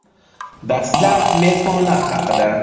Dastlab mezbonlar haqida.